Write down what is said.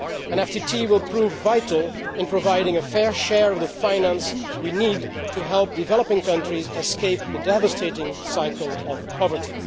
An FTT will prove vital in providing a fair share of the finance we need to help developing countries escape the devastating cycle of poverty.